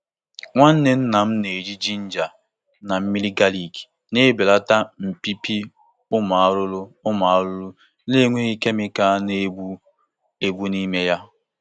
Nwanne nna m na-eji ginger na mmiri galik na-ebelata mbibi umu arụrụ umu arụrụ na-enweghị kemịkal na-egbu egbu n'ime ya.